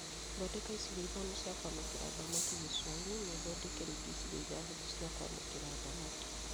Thondeka icigo ithano cia kwamũkĩra thamaki gĩcũa-inĩ na ũthondeke rĩngĩ icigo ithathatũ cia kwamũkĩra thamaki